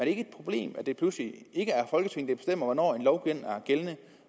ikke et problem at det pludselig ikke er folketinget der bestemmer hvornår en lov er gældende